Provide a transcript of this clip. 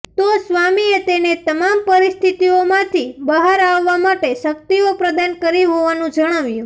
તો સ્વામીએ તેને તમામ પરિસ્થિતિઓમાંથી બહાર આવવા માટે શક્તિઓ પ્રદાન કરી હોવાનું જણાવ્યું